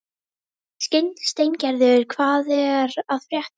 Steingerður, hvað er að frétta?